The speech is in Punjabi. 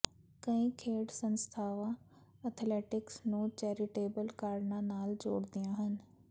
ਕਈ ਖੇਡ ਸੰਸਥਾਵਾਂ ਅਥਲੈਟਿਕਸ ਨੂੰ ਚੈਰੀਟੇਬਲ ਕਾਰਨਾਂ ਨਾਲ ਜੋੜਦੀਆਂ ਹਨ